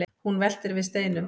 hún veltir við steinum